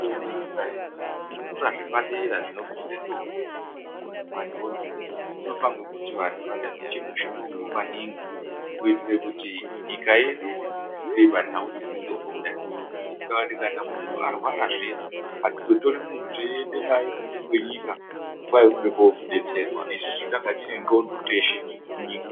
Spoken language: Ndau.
Nekoende nyika yedu ino iyi, kuzvikora zvepadera zvinofunda ndombi nemadhodha kunofanirwa kuti vantu vatatiche mitombo maningi. kuitire kuti nyika yedu ibudirire panhau dzemitambo kudai, kuitira kuti kana muntu arwara zviyaa hatizotori muntu teiende naye kunze kwenyika , kwayi unode kodetserwaa isusu tanga tine ndxondo teshee munyika.